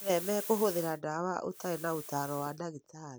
Wĩtheme kũhũthĩra ndawa ũtarĩ na ũtaaro wa ndagĩtarĩ.